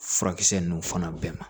Furakisɛ ninnu fana bɛɛ ma